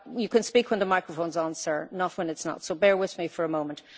You can speak when the microphone is on, sir, not when it is not, so bear with me for a moment.